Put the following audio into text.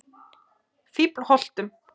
Fíflholtum